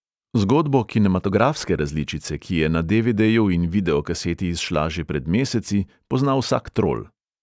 Zgodbo kinematografske različice, ki je na de|ve|deju in videokaseti izšla že pred meseci, pozna vsak trol.